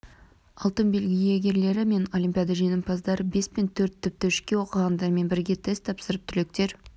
алтын белгі иегерлері мен олимпиада жеңімпаздары бес пен төрт тіпті үшке оқығандармен бірге тест тапсырып түлектер